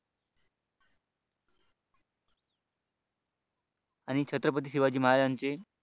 आणि छत्रपती शिवाजी महाराजांचे